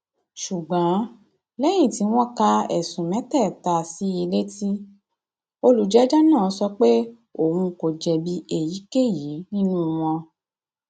ṣùgbọn lẹyìn tí wọn ka ẹsùn mẹtẹẹta sí i létí olùjẹjọ náà sọ pé òun kò jẹbi èyíkéyìí nínú wọn